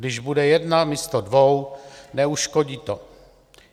Když bude jedna místo dvou, neuškodí to.